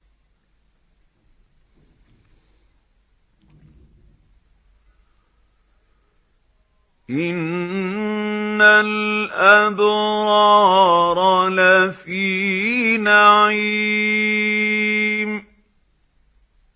إِنَّ الْأَبْرَارَ لَفِي نَعِيمٍ